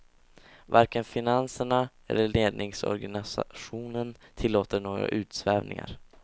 Varken finanserna eller ledningsorganisationen tillåter några utsvävningar.